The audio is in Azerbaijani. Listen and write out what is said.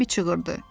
Bembi çığırdı.